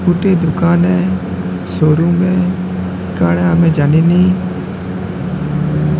ଗୋଟେ ଦୋକାନ ଏ। ସୋରୁମେ କାଣା ଆମେ ଜାଣିନି --